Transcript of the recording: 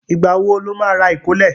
Ìgbà wo lo má rà ìkólẹ̀?